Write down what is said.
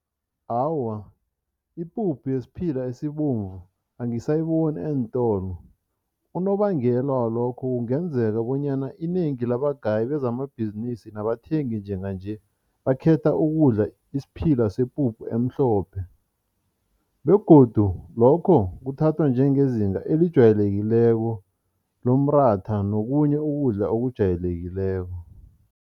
Awa, ipuphu yesiphila esibomvu angisayiboni eentolo. Unobangela walokho kungenzeka bonyana inengi labagayi bezamabhizinisi nabathengi njenganje bakhetha ukudla isiphila sepuphu emhlophe begodu lokho kuthathwa njengezinga elijwayelekileko nomratha, nokhunye ukudla okujwayelekileko.